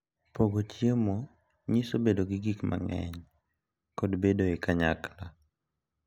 Pogo chiemo nyiso bedo gi gik mang’eny kod bedo e kanyakla.